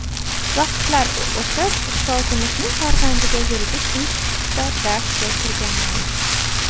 Vaqtlar o‘tib ustozimizning farzandiga Yuridik institutida darsga kirganman.